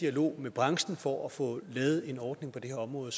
dialog med branchen for at få lavet en ordning på det her område